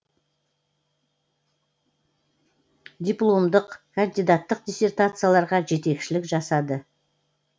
дипломдық кандидаттық диссертацияларға жетекшілік жасады